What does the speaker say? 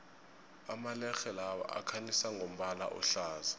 amalerhe lawa akhanyisa ngombala ohlaza